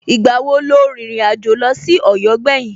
Ìgbà wo lo rìnrìn àjò lọ sí Ọ̀yọ́ gbẹ̀yìn?